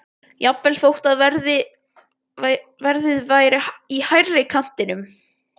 Jafnvel þó að verðið væri í hærri kantinum.